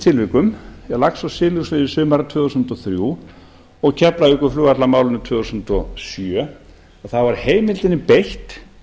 tilvikum um lax og silungsveiði sumarið tvö þúsund og þrjú og keflavíkurflugvallarmálinu tvö þúsund og sjö þá var heimildinni beitt